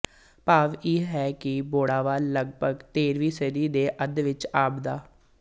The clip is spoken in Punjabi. ਭਾਵ ਹੈ ਕਿ ਬੋੜਾਵਾਲ ਲਗਪਗ ਤੇਰ੍ਹਵੀਂ ਸਦੀ ਦੇ ਅੱਧ ਵਿੱਚ ਆਬਾਦ